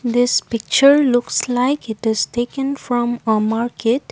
this picture looks like it is taken from a market.